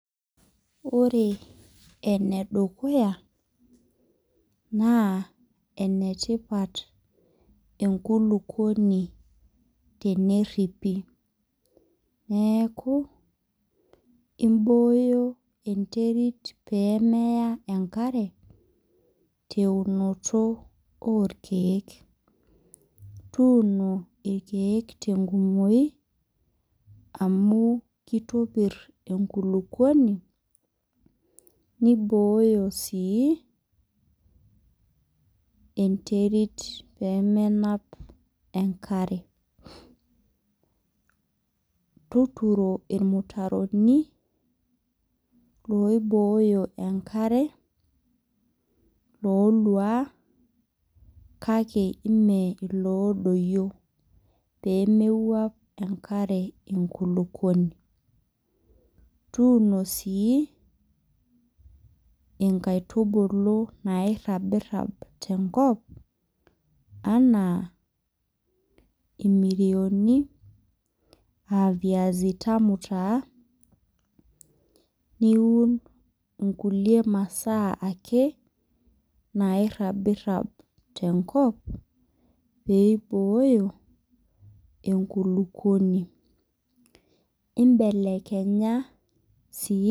Ore ene dukuya naa ene tipat enkulukuoni teneripi, neaku imbooyo enterit pee meya enkare te eunoto o lkeek, tuuono lkeek te enkumoi amu keitopir enkulukuoni neibooyo sii enterit pee menap enkare. Tuturo ilmutaroni loibooyo enkare, lolua kake mee iloodoyio pee mewuap enkare inkulukuoni. Tuuno sii inkaitubulu nairabirab tenkop anaa imirioni, aa viazi tamu taa niun inkulie masaa ake nairabirab tenkop pee eibooyo enkulukuoni. Imbelekenya sii .